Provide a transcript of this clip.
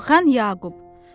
Zəlimxan Yaqub.